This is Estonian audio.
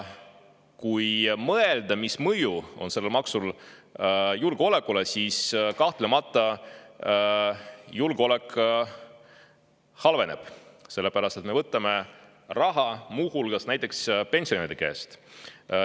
Kui mõelda, mis mõju on sellel maksul julgeolekule, siis julgeolek kahtlemata halveneb, sest me võtame raha muu hulgas pensionäride käest.